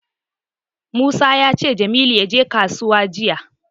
Musa ya ce Jamilu ya je kasuwa jiya.